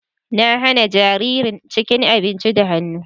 Na hana jaririn cin abinci da hannu.